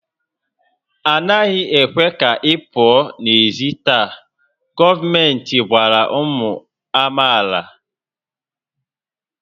A naghị ekwe ka ị pụọ n'èzí taa! Gọọmenti gwara ụmụ amaala